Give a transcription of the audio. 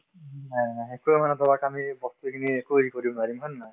উম, হয় হয় একোয়ে মানে ধৰক আমি বস্তুখিনি একো হেৰি কৰিব নোৱাৰিম হয় নে নহয়